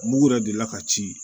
Mugu yɛrɛ delila ka ci